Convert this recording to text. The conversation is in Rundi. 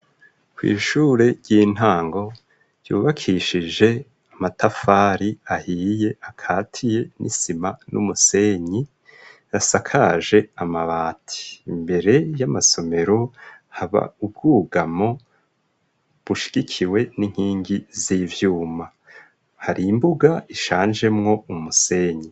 Kw'ishure ry'intango, ryubakishije amatafari ahiye, akatiye n'isima, n'umusenyi, asakaje amabati; imbere y'amasomero, haba ubwugamo, bushigikiwe n'inkingi, z'ivyuma; hari imbuga, ishanjemwo umusenyi.